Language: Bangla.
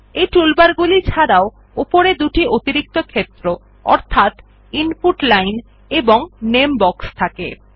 এই টুলবারগুলি ছাড়াও উপরে দুটি অতিরিক্ত ক্ষেত্র অর্থাৎ ইনপুট লাইন এবং নামে বক্স থাকে